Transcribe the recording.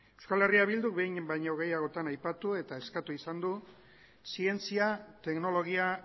eh bilduk behin baino gehiagotan aipatu eta eskatu izan du zientzia teknologia